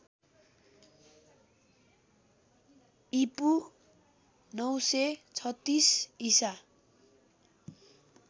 ईपू ९३६ ईसा